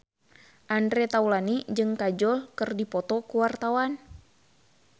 Andre Taulany jeung Kajol keur dipoto ku wartawan